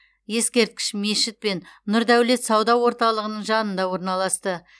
ескерткіш мешіт пен нұрдәулет сауда орталығының жанында орналасты